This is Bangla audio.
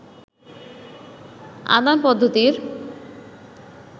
আদান পদ্ধতির